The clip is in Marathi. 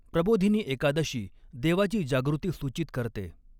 प्रबोधिनी एकादशी देवाची जागृती सूचित करते.